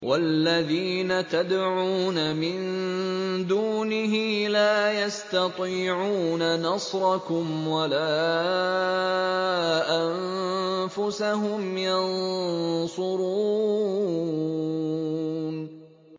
وَالَّذِينَ تَدْعُونَ مِن دُونِهِ لَا يَسْتَطِيعُونَ نَصْرَكُمْ وَلَا أَنفُسَهُمْ يَنصُرُونَ